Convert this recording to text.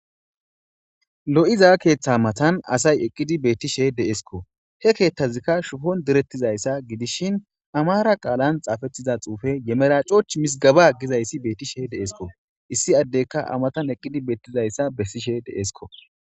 Lo'iza keththa matanni asayi eqqidi betishshe de'essikko.he keththazikka shubbonni direttizayidsa gidishin amara qalenni xaafettida xufeyi ye meracochchi misgeba Gizayiss betees.